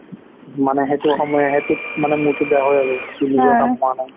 মানে সেইটো সময় সেইটোত মানে মূৰটো বেয়া হয় আৰু তোৰ নিজৰ কাম হোৱা নাই